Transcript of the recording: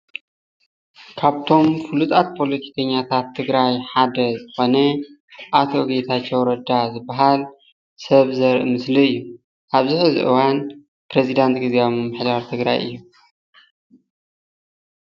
ካብቶም ፍሉጣት ፓሎቲከኛታት ትግራይ ሓደ ዝኮነ አቶ ጌታቸዉ ረዳ ዝብሃል ሰብ ዘርኢ ምስሊ እዩ፡፡ አብዚ ሕዚ እዋን ፕረዚዳንት ግዜዊ ምምሕዳር ትግራይ እዩ፡፡